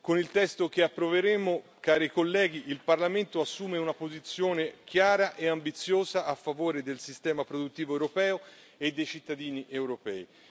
Con il testo che approveremo, cari colleghi, il Parlamento assume una posizione chiara e ambiziosa a favore del sistema produttivo europeo e dei cittadini europei.